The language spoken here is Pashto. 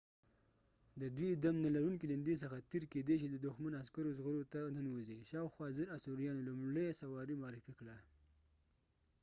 د دوی دم نلرونکي ليندي څخه تیر کیدی شي د دښمن عسکرو زغرو ته ننوځي. شاوخوا ۱۰۰۰ b.c. آثوریانو لومړۍ سواري معرفي کړه